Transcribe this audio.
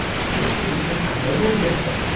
Bu siz uchun qanday bo‘lgandi?